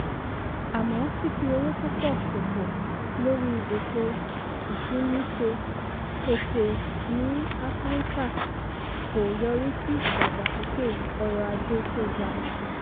àmọ́ fífi owó púpọ̀ ṣòfò lórí ètò ìsúnniṣe-pèsè ní áfíríkà kò yọrí sí ìdàgbàsókè ọrọ̀ ajé tó ga.